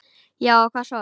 Já og hvað svo?